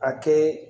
A kɛ